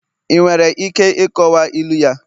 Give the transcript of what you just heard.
ị nwere ike ịkọwa ilu ya?